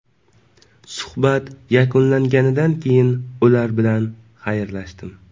Suhbat yakunlanganidan keyin ular bilan xayrlashdim.